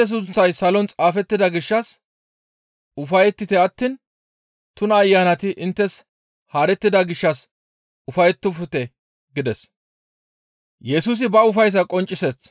Intte sunththay salon xaafettida gishshas ufayettite attiin tuna ayanati inttes haarettida gishshas ufayettofte» gides.